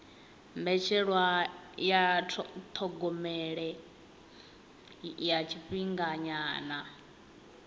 mbetshelwa ya thogomelo ya tshifhinganyana